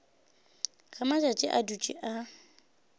ge matšatši a dutše a